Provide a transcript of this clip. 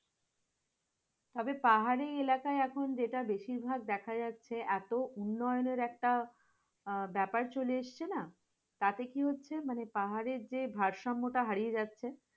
তবে পাহাড়ি এলাকায় এখন যেটা বেশিভাগ দেখা যাচ্ছে এত উন্নায়নের একটা আহ ব্যাপার চলে এসছে না? তাতে কি হচ্ছে? পাহাড়ের যে ভারসাম্য হারিয়ে যাচ্ছে